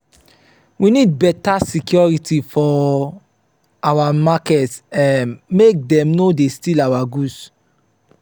we need beta security for our market um make dem no dey steal our goods.